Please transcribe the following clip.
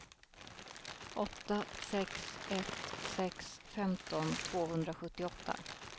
åtta sex ett sex femton tvåhundrasjuttioåtta